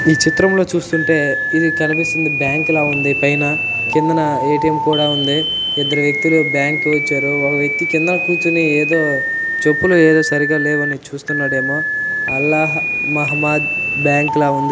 ఈ చిత్రం లో చూస్తుంటే ఇధి కనిపిస్తుంది బ్యాంక్ ల ఉంది పైన కింద ఏ.టి.మ్. కూడా ఉంది ఇద్దరు వ్యక్తులు బ్యాంక్ కి వచ్చారు ఒక వ్యక్తి కిందాన కూర్చోని ఎదో చెప్పులు ఏవో సరిగా లేవు అని చూస్తున్నాడు ఏమొ అల్లాహ్ మహమద్ బ్యాంక్ ల ఉంది.